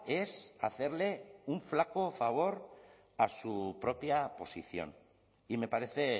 es hacerle un flaco favor a su propia posición y me parece